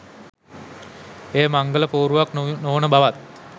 එය මංගල පෝරුවක් නොවන බවත්